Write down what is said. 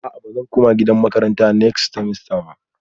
A'a bazan koma gidan makaranta next semester ba